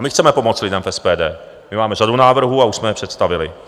A my chceme pomoct lidem v SPD, my máme řadu návrhů a už jsme je představili.